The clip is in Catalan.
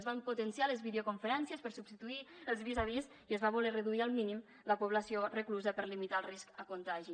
es van potenciar les videoconferències per substituir els vis a vis i es va voler reduir al mínim la població reclusa per a limitar el risc de contagi